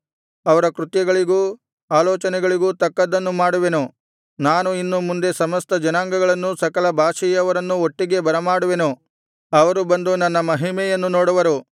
ಅವರ ಕೃತ್ಯಗಳಿಗೂ ಆಲೋಚನೆಗಳಿಗೂ ತಕ್ಕದ್ದನ್ನು ಮಾಡುವೆನು ನಾನು ಇನ್ನು ಮುಂದೆ ಸಮಸ್ತ ಜನಾಂಗಗಳನ್ನೂ ಸಕಲ ಭಾಷೆಯವರನ್ನೂ ಒಟ್ಟಿಗೆ ಬರಮಾಡುವೆನು ಅವರು ಬಂದು ನನ್ನ ಮಹಿಮೆಯನ್ನು ನೋಡುವರು